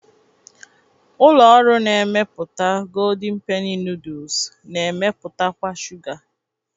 Ụlọ ọrụ na-emepụta Goldịñ Penị nooduls na-emepụtakwa shuga